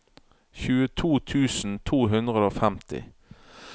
tjueto tusen to hundre og femti